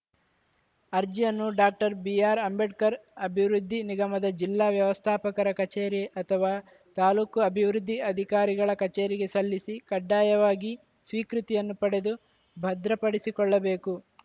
ಅರ್ಜಿಯನ್ನು doctor B R Ambedkar ಅಭಿವೃದ್ಧಿ ನಿಗಮದ ಜಿಲ್ಲಾ ವ್ಯವಸ್ಧಾಪಕರ ಕಚೇರಿ ಅಥವಾ ತಾಲೂಕು ಅಭಿವೃದ್ಧಿ ಅಧಿಕಾರಿಗಳ ಕಛೇರಿಗೆ ಸಲ್ಲಿಸಿ ಕಡ್ಡಾಯವಾಗಿ ಸ್ವೀಕೃತಿಯನ್ನು ಪಡೆದು ಭದ್ರಪಡಿಸಿಕೊಳ್ಳಬೇಕು